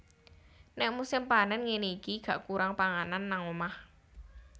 Nek musim panen ngene iki gak kurang panganan nang omah